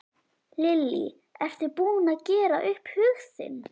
Lillý: Ertu búin að gera upp hug þinn?